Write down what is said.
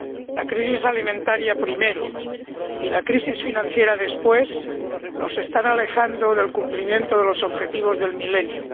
La crisis alimentaria, primero, y la crisis financiera, después, nos están alejando del cumplimiento de los Objetivos del Milenio.